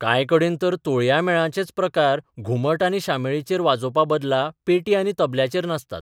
कांय कडेन तर तोणया मेळांचेच प्रकार घुमट आनी शामेळाचेर वाजोवपा बदला पेटी आनी तबल्याचेर नाचतात.